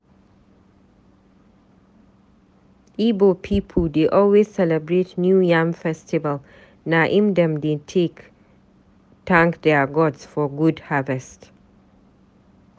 Ibo pipu dey always celebrate New Yam Festival, na im dem dey take tank their gods for good harvest.